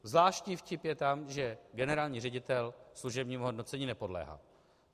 Zvláštní vtip je tam, že generální ředitel služebnímu hodnocení nepodléhá.